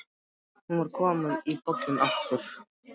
Hún var komin í bolinn aftur.